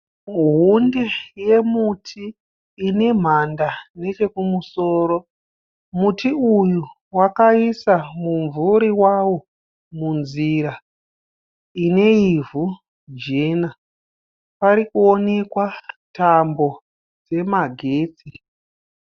Hunde yemuti inemhanda nechekumusoro. Muti uyu wakaisa mumvuri wawo munzira ineivhu jena. Parikuonekwa tambo yemagetsi.